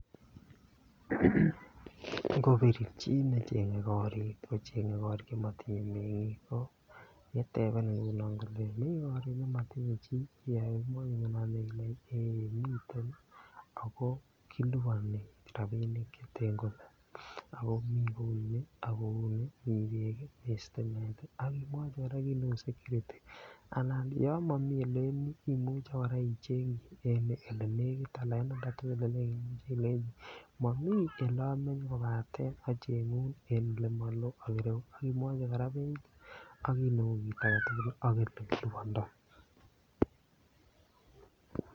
Ngobir chii nechenge koriik kocheng'e chemotinye mengiik ko yetebenin kole mii koriik chemotinye chii yemwa kounon ile ,ee miten ako kiliponi rabinik cheten kole, ako mi kouni, ako miten sitimet ii, akimwochi kora kii neu securuty ako yon momi imuche kora ichenkyi olenegit alan ilenchi momii olemenye kobaten ocheng'un en olemoloo ak ireyu akimwochi kora beit ak kiit neu kiit agetugul ak olekilibondoo.